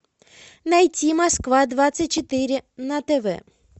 найти москва двадцать четыре на тв